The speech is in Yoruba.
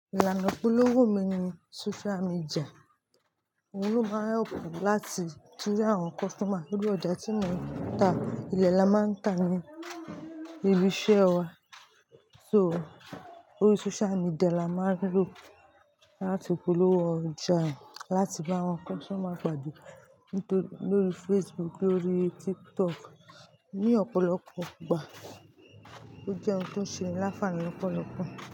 Ìlànà ìpolówó mi ni social media, òun ló máa ń help me láti tún rí àwọn customer. Lórí ọjà tí mo ń ta, ilẹ̀ la máa ń ta ní ibi iṣẹ́ wa, so lórí social media la máa ń lò láti polówó ọjà, láti bá àwọn customer pàdé lóri Facebook, lórí TikTok ní ọ̀pọ̀lọpọ̀ ìgbà. Ó jẹ́ ohun tó ṣe láfààní lọ́pọ̀lọpọ̀